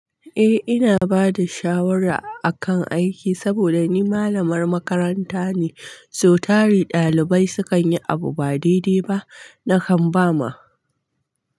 Eh ina bada shawara akan aiki saboda ni malamar makaranta ne, so tari ɗalibai sukan yi abu ba daidai ba nakan ba ma.